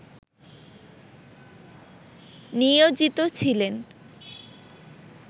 নিয়োজিত ছিলেন